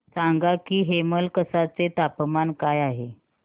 सांगा की हेमलकसा चे तापमान काय आहे